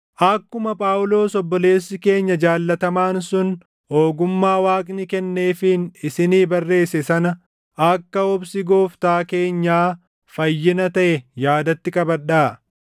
Akkuma Phaawulos obboleessi keenya jaallatamaan sun ogummaa Waaqni kenneefiin isinii barreesse sana akka obsi Gooftaa keenyaa fayyina taʼe yaadatti qabadhaa.